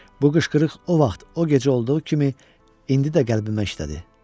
Bu qışqırıq o vaxt, o gecə olduğu kimi indi də qəlbimə işlədi.